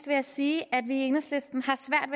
jeg sige at vi i enhedslisten